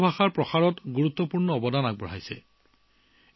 ৱাংছু ভাষাৰ প্ৰসাৰত তেওঁ গুৰুত্বপূৰ্ণ ভূমিকা পালন কৰিছিল